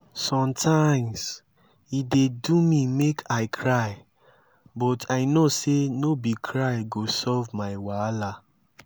sometimes e dey do me make i cry but i no sey no be cry go solve my wahala